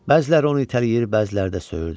Bəziləri onu itələyir, bəziləri də söyürdü.